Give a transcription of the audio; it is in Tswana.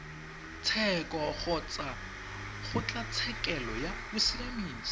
tsheko kgotsa kgotlatshekelo ya bosiamisi